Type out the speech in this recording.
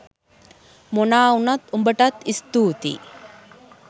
මොනා වුනත් උඹටත් ස්තූතියි